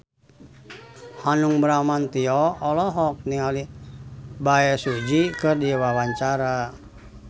Hanung Bramantyo olohok ningali Bae Su Ji keur diwawancara